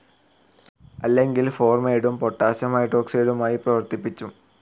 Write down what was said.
അല്ലെങ്കിൽ ഫോർമൈഡും പൊട്ടാസിയം ഹൈഡ്രോഓക്സൈഡുമായി പ്രവർത്തിപ്പിച്ചും